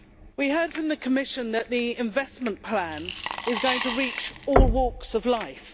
We heard from the Commission that the investment plan is going to reach all walks of life.